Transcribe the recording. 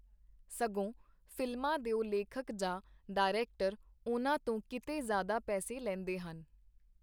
ਸਗੋਂ ਫ਼ਿਲਮਾਂ ਦਿਓ ਲੇਖਕ ਜਾਂ ਡਾਇਰੈਕਟਰ ਉਹਨਾਂ ਤੋਂ ਕੀਤੇ ਜ਼ਿਆਦਾ ਪੈਸੇ ਲੈਂਦੇ ਹਨ.